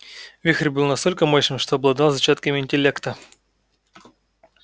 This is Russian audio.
вихрь был настолько мощным что обладал зачатками интеллекта